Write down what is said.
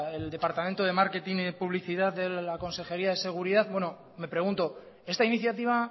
el departamento de marketing y publicidad de la consejería de seguridad bueno me pregunto esta iniciativa